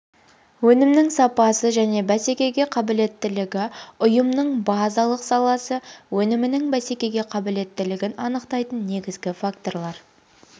өнімнің сапасы және бәсекеге қабілеттілігі ұйымның базалық саласы өнімінің бәсекеге қабілеттілігін анықтайтын негізгі факторлар